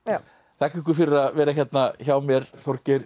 þakka ykkur fyrir að vera hérna hjá mér Þorgeir